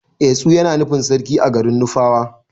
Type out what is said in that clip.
Etsu Yana nufin sarki a garin nufawa.